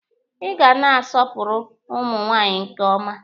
Ị ga na-asọpụrụ ụmụ nwaanyị nke ọma.